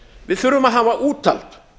við þurfum að hafa úthald